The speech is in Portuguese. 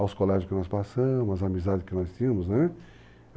aos colégios que nós passamos, as amizades que nós tínhamos, né?